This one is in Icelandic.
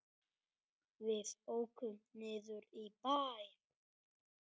Við ókum niður í bæ.